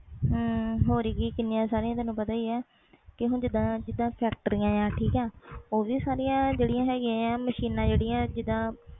ਹਾ ਹੋਰ ਕਿ ਤੈਨੂੰ ਪਤਾ ਕਿੰਨੀਆਂ ਸਾਰੀਆਂ ਪਤਾ ਹੀ ਆ ਕਿ ਜਿੰਦਾ factories ਠੀਕ ਆ ਓ ਵੀ ਸਾਰੀਆਂ ਮਸ਼ੀਨਾਂ ਜਿੰਦਾ